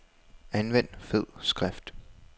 Anvend fed skrift.